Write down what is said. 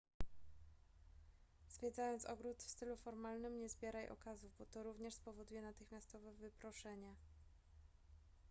zwiedzając ogród w stylu formalnym nie zbieraj okazów bo to również spowoduje natychmiastowe wyproszenie